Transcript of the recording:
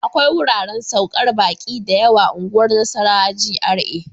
akwai wuraren saukar baƙi da yawa unguwar Nasarawa GRA.